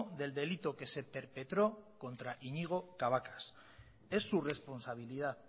del delito que se perpetró contra iñigo cabacas es su responsabilidad